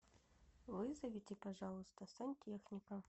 вызовите пожалуйста сантехника